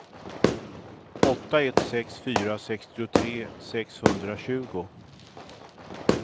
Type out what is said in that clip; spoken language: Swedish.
åtta ett sex fyra sextiotre sexhundratjugo